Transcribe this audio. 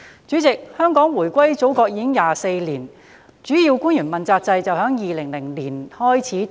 主席，香港回歸祖國已24年，主要官員問責制於2002年開始實施。